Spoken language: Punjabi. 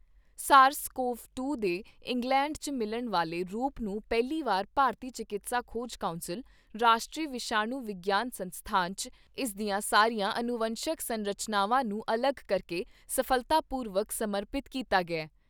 ਸਾਰਸ ਕੋਵ ਦੋ ਦੇ ਇੰਗਲੈਂਡ 'ਚ ਮਿਲਣ ਵਾਲੇ ਰੂਪ ਨੂੰ ਪਹਿਲੀ ਵਾਰ ਭਾਰਤੀ ਚਿਕਿਤਸਾ ਖੋਜ ਕੌਂਸਲ, ਰਾਸ਼ਟਰੀ ਵਿਸ਼ਾਣੂ ਵਿਗਿਆਨ ਸੰਸਥਾਨ 'ਚ ਇਸ ਦੀਆਂ ਸਾਰੀਆਂ ਅਨੂਵੰਸ਼ਕ ਸੰਰਚਾਨਾਵਾਂ ਨੂੰ ਅਲੱਗ ਕਰਕੇ ਸਫ਼ਲਤਾਪੂਰਵਕ ਸਮਰਪਿਤ ਕੀਤਾ ਗਿਆ ।